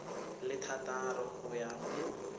le thataro go ya go